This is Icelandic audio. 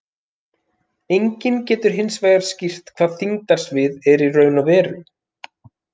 Enginn getur hins vegar skýrt hvað þyngdarsvið er í raun og veru.